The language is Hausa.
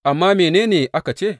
Amma mene ne aka ce?